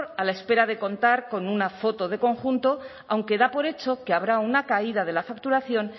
a la espera de contar con una foto de conjunto aunque da por hecho que habrá una caída de la facturación